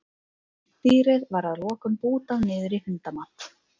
Dýrið var að lokum bútað niður í hundamat.